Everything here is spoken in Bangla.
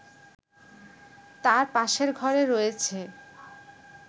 তার পাশের ঘরে রয়েছে